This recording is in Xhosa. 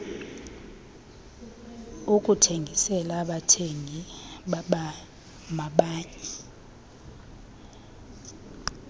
ukuthengisela abathengi bamanye